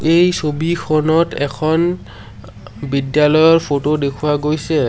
এই ছবিখনত এখন বিদ্যালয়ৰ ফটো দেখুওৱা গৈছে।